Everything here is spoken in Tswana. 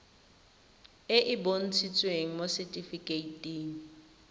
e e bontshitsweng mo setifikeiting